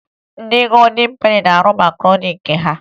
Ndị Godin Peni na-arụ makaroni nke ha